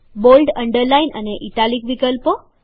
bold underline અને italic વિકલ્પો